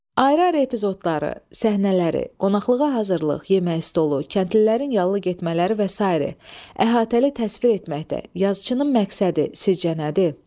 Ayrı-ayrı epizodları, səhnələri, qonaqlığa hazırlıq, yemək stolu, kəndlilərin yallı getmələri və sair əhatəli təsvir etməkdə yazıçının məqsədi sizcə nədir?